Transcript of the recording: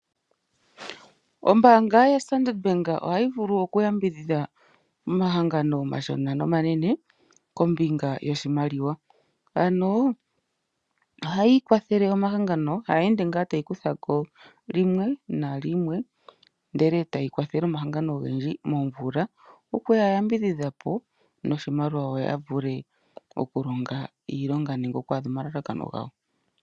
Ombanga yaStandard Bank ohayi vulu oku yambidhidha omahangano omashona nomanene kombinga yoshimaliwa. Ano ohayi kwathele omahagano haye ende ngaa tayi kuthako limwe nalimwe ndele etayi kwathele omahagano ogendji momvula. Okuya yambidhidha po noshimaliwa opo ya vule oku longa iilonga nenge okwaadha omalalakano gayo.